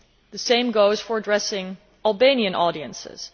The same goes for addressing Albanian audiences.